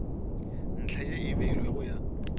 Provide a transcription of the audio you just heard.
ntlha ye e beilwego ya